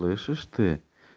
слышишь ты